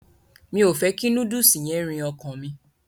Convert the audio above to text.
Mi o fẹ kí núdùùsì yẹn rìn ọkàn mi.